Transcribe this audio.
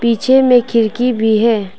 पीछे में खिड़की भी है।